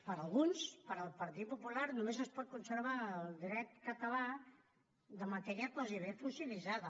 per alguns pel partit popular només es pot conservar el dret català de matèria gairebé fossilitzada